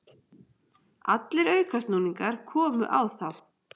Allir aukasnúningar komu á þá.